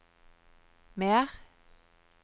mer